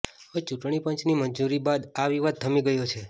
હવે ચૂંટણી પંચની મંજૂરી બાદ આ વિવાદ થમી ગયો છે